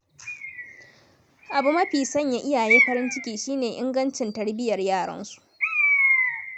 Abu mafi sanya iyaye farin ciki shi ne ingancin tarbiyyar yaransu.